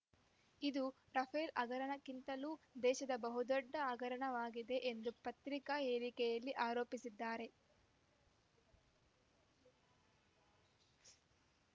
ಇದು ರಫೇಲ್‌ ಹಗರಣಕ್ಕಿಂತಲೂ ದೇಶದ ಬಹುದೊಡ್ಡ ಹಗರಣವಾಗಿದೆ ಎಂದು ಪತ್ರಿಕಾ ಹೇಳಿಕೆಯಲ್ಲಿ ಆರೋಪಿಸಿದ್ದಾರೆ